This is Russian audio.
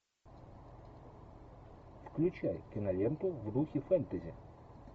включай киноленту в духе фентези